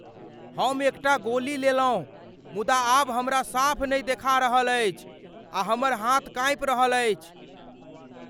हम एकटा गोली लेलहुँ मुदा आब हमरा साफ नहि देखा रहल अछि आ हमर हाथ काँपि रहल अछि।